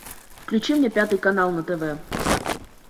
включи мне пятый канал на тв